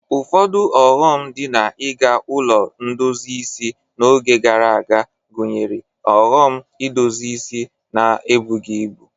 Ụfọdụ ọghọm dị na iga ụlọ ndozi isi n'oge gara aga gụnyere nhọrọ edozi isi na ebughi ibu.